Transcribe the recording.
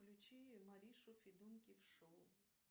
включи маришу федункив шоу